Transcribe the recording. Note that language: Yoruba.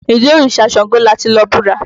Ìdí óríṣá ṣàngó lati lọ búra.